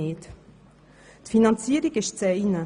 Die Finanzierung ist das eine.